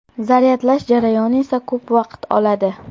Zaryadlash jarayoni esa ko‘p vaqt oladi.